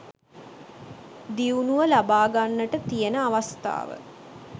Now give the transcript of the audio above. දියුණුව ලබාගන්නට තියෙන අවස්ථාව